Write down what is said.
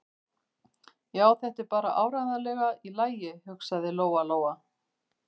Já, þetta er bara áreiðanlega í lagi, hugsaði Lóa-Lóa.